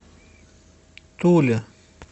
туле